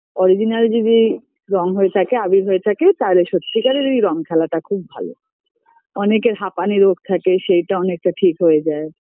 original যদি রঙ হয়ে থাকে আবীর হয়ে থাকে তাহলে সত্যি কারেরই রঙ খেলাটা খুব ভালো অনেকের হাঁপানি রোগ থাকে সেইটা অনেকটা ঠিক হয়ে যায়